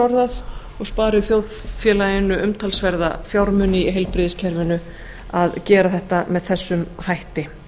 orðað og spari þjóðfélaginu umtalsverða fjármuni í heilbrigðiskerfinu að gera þetta með þessum hætti